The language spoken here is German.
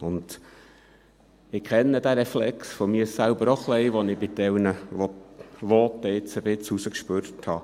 Ich kenne diesen Reflex, den ich jetzt bei manchen Voten etwas herausgespürt habe, auch von mir selber ein bisschen.